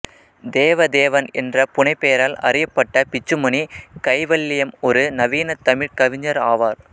தேவதேவன் என்ற புனைப்பெயரால் அறியப்பட்ட பிச்சுமணி கைவல்யம் ஒரு நவீனத் தமிழ் கவிஞர் ஆவார்